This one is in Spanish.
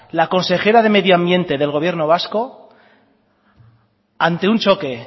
la consejera del medio ambiente del gobierno vasco ante un choque